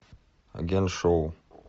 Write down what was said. агент шоу